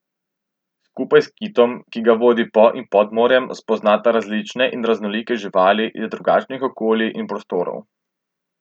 Skupaj s kitom, ki ga vodi po in pod morjem, spoznata različne in raznolike živali iz drugačnih okolij in prostorov...